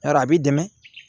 Yɔrɔ a b'i dɛmɛ